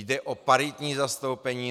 Jde o paritní zastoupení.